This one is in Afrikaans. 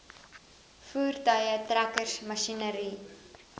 voertuie trekkers masjinerie